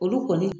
Olu kɔni